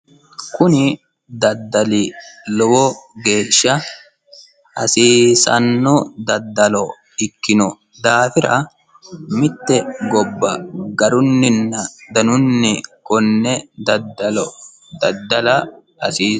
Kuni daddali lowo geeshsha hasiisanno daddalo ikkino daafira mitte gobba garunninna danunni daddala hasiisanno.